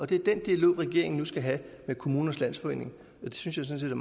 det er den dialog regeringen nu skal have med kommunernes landsforening og det synes jeg sådan